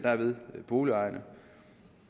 boligejerne